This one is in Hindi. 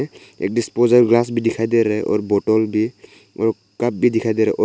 एक डिस्पोजल गिलास भी दिखाई दे रहा है और बोतल भी और कप भी दिखाई दे रहा है और --